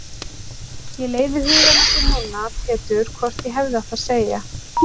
Ég leiði hugann að því núna Pétur hvort ég hefði átt að segja